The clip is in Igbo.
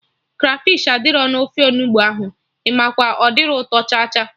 Krafish adịrọ na ofe Onugbu ahụ, Imakwa, ọ dirọ ụtọ cha cha